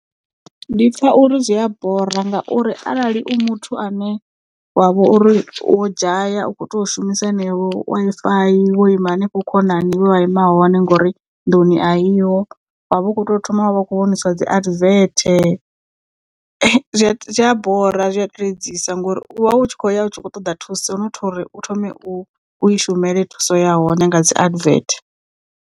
Ndi pfha uri zwi a bora ngauri arali u muthu ane wavho uri wo dzhaya u kho tea u shumisa yeneyo Wi-Fi wo ima hanefho khonani he wa ima hone ngori nduni a iho wa vha u kho to thoma wa vha u kho vhoniswa dzi advert zwi a bora zwi a tedzisa ngori u tshi khou ya u tshi khou ṱoḓa thuso not uri u thome u i shumele thuso ya hone nga dzi advert.